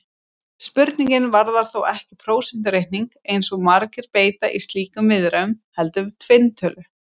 Spurningin varðar þó ekki prósentureikning, eins og margir beita í slíkum viðræðum, heldur tvinntölur!